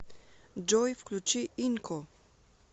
джой включи инко